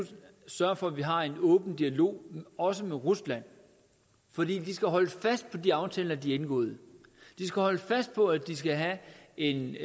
sørge for at vi har en åben dialog også med rusland for de skal holdes fast på de aftaler de har indgået de skal holdes fast på at de skal have en